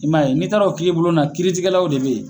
I m'a ye n'i taara o kiiribulon na kiiritigɛlaw de be yen